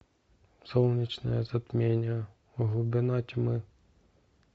солнечное затмение глубина тьмы